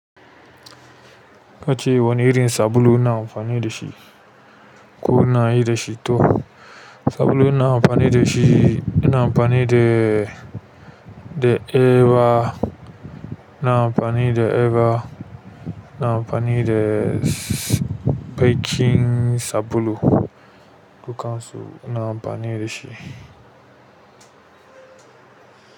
Kace wane irin sabulu ina amfani da shi ko ina yi da shi to? Sabulu ina amfani da shi, ina amfani da, da Eva, ina amfani da Eva, ina amfani da baƙin sabulu, dukansu ina amfani da shi.